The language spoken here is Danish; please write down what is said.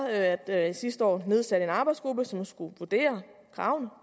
at jeg sidste år nedsatte en arbejdsgruppe som skulle vurdere kravene